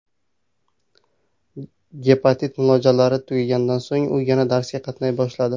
Gepatit muolajalari tugaganidan so‘ng, u yana darsga qatnay boshladi.